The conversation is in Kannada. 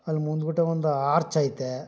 ಅಲ್ಲಿ ಮುಂದಾಗದೆ ಒಂದು ಆರ್ಚ್ ಐತೆ.